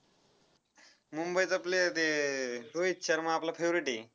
मुंबईचा player ते अह रोहित शर्मा आपला favourite आहे.